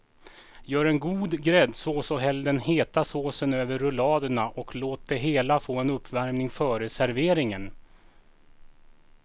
Gör en god gräddsås och häll den heta såsen över rulladerna och låt det hela få en uppvärmning före serveringen.